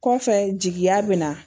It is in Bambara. Kɔfɛ jigiya be na